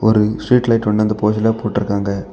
ஒரு street light ஒன்னு அந்த பகுதியில போட்டுருக்காங்க.